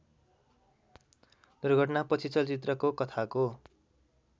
दुर्घटनापछि चलचित्रको कथाको